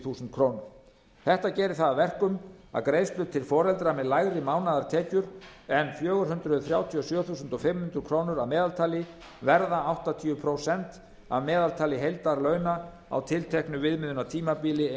þúsund krónur þetta gerir það að verkum að greiðslur til foreldra með lægri mánaðartekjur en fjögur hundruð þrjátíu og sjö þúsund fimm hundruð krónur að meðaltali verða áttatíu prósent af meðaltali heildarlauna á tilteknu viðmiðunartímabili